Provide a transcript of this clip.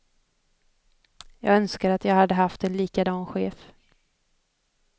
Jag önskar att jag hade haft en likadan chef.